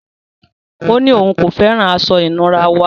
Ọ̀ ní ọún kò fẹ́ran àṣọ-ìnúrà wa.